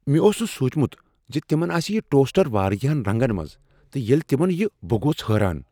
مےٚ اوس نہٕ سوچمت ز تمن آسہ یہ ٹوسٹر واریاہن رنگن منٛز تہٕ ییٚلہ تمن یہِ بہٕ گوس حٲران۔